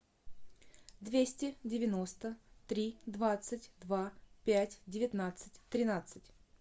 двести девяносто три двадцать два пять девятнадцать тринадцать